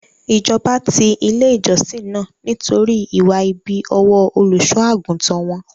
Ìjọba ti ilé ìjọsìn náà nítorí ìwà ibi ọwọ́ Olùṣọ́-àgùntàn won.